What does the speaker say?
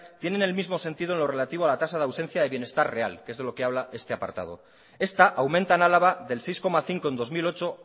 tienen el mismo sentido en lo relativo a la tasa de ausencia de bienestar real que es de lo que habla este apartado esta aumenta en álava del seis coma cinco en dos mil ocho